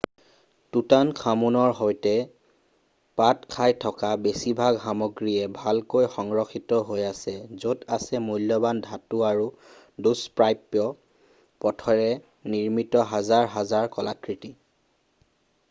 টুতানখামুনৰ সৈতে পোত খাই থকা বেছিভাগ সমগ্ৰীয়ে ভালকৈ সংৰক্ষিত হৈ আছে য'ত আছে মূল্যবান ধাতু আৰু দুষ্প্ৰাপ্য পাথৰেৰে নিৰ্মিত হাজাৰ হাজাৰ কলাকৃতি